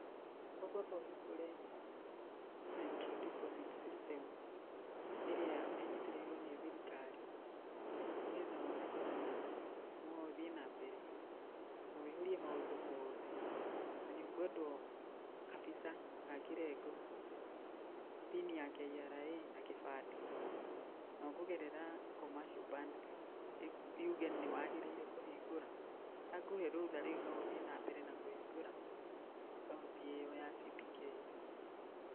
Ũkũamba ũhingũre Central Deposit System ĩrĩa ĩnyitĩrĩirwo nĩ thirikari nĩ getha woneke kana no ũthiĩ na mbere na wĩihũrie maũndũ mothe na nĩũkwendwo kabica ga kĩrengo, PIN ya KRA na kĩbandĩ na ũkũgerera Commercial Bank, yuge nĩwagĩrĩire kũhingũra. Yakũhe rũtha rĩu no ũthiĩ na mbere na kũhingũra akaunti ĩyo ya CBK.